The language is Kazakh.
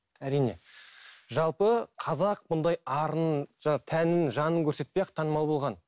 әрине жалпы қазақ бұндай арын тәнін жанын көрсетпей ақ танымал болған